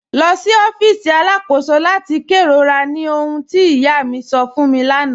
Lọ sí ọfíìsì aláàkọ̀sò láti kẹrọ̀rà, ní òhùn tí ìyá mi sọ̀ fún mi láńà